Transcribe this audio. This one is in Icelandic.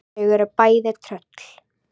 Þau eru bæði tröll.